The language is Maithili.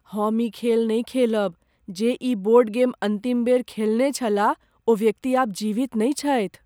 हम ई खेल नहि खेलब। जे ई बोर्ड गेम अन्तिम बेर खेलने छलाह ओ व्यक्ति आब जीवित नहि छथि।